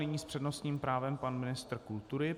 Nyní s přednostním právem pan ministr kultury.